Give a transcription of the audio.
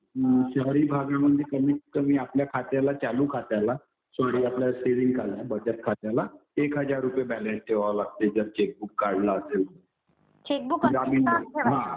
शहरी भागामध्ये कमीतकमी आपल्या खात्याला, चालू खात्याला सॉरी आपलं सेविंग, बचत खात्याला एक हजार रुपये बॅलन्स ठेवावं लागतंय जर चेकबुक काढलं असेल तर जामीन म्हणून. हा.